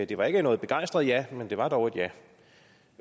det var ikke noget begejstret ja men det var dog et ja